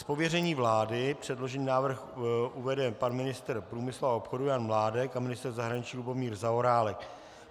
Z pověření vlády předložený návrh uvede pan ministr průmyslu a obchodu Jan Mládek a ministr zahraničí Lubomír Zaorálek.